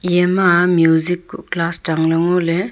eima music ku class changle ngo le.